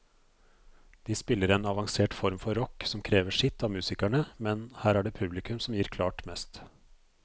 De spiller en avansert form for rock som krever sitt av musikerne, men her er det publikum som gir klart mest.